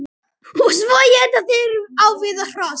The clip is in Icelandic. Og svo éta þeir á við hross!